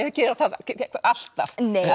gera það alltaf